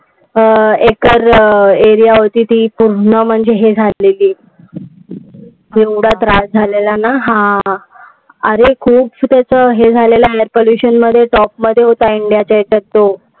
अं acre area होती ती पूर्ण म्हणजे ही झालेली. केवढा त्रास झालेला ना! हा! अरे खूप त्याच हे झालेला air pollution मध्ये top मध्ये होता इंडियाच्या ह्याच्यात तो.